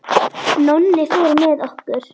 Nonni fór með okkur.